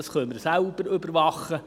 Das können wir selbst überwachen.